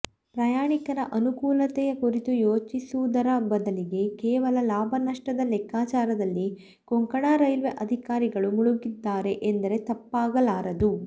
ಪ್ರಯಾಣಿಕರ ಅನುಕೂಲತೆಯ ಕುರಿತು ಯೋಚಿಸುವುದರ ಬದಲಿಗೆ ಕೇವಲ ಲಾಭ ನಷ್ಟದ ಲೆಕ್ಕಾಚಾರದಲ್ಲಿ ಕೊಂಕಣ ರೈಲ್ವೇ ಅಧಿಕಾರಿಗಳು ಮುಳುಗಿದ್ದಾರೆ ಎಂದರೆ ತಪ್ಪಾಗಲಾರದು